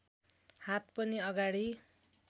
हात पनि अगाडि